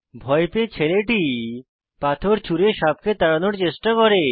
ভয় পেয়ে ছেলেটি পাথর ছুঁড়ে সাপকে তাড়ানোর চেষ্টা করে